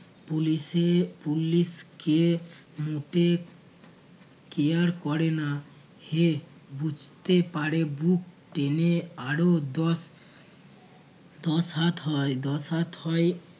police এ police কে মোটে care করে না। হেহ বুঝতে পারে বুক টেনে আরও দশ দশ হাত হয় দশ হাত হয়